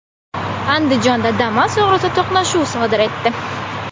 Andijonda Damas og‘risi to‘qnashuv sodir etdi.